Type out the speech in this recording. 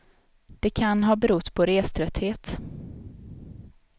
Det kan ha berott på reströtthet.